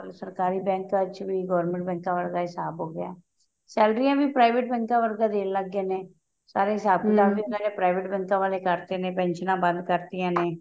ਸਰਕਾਰੀ ਬੈੰਕਾਂ ਚ government ਬੈੰਕਾਂ ਵਾਲਾ ਹਿਸਾਬ ਹੋਗਿਆ ਸੇਲਰੀਆਂ ਵੀ private ਬੈੰਕਾਂ ਵਰਗਾ ਦੇਣ ਲੱਗੇ ਨੇ ਸਾਰੇ ਹਿਸਾਬ ਕਿਤਾਬ ਵੀ private ਬੈੰਕਾਂ ਵਾਲੇ ਕਰਤੇ ਨੇ ਪੇਨਸ਼੍ਨਾ ਬੰਦ ਕਰਤੀਆਂ ਨੇ